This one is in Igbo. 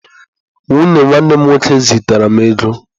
Nwunye nwanne m nwoke zitere m ego.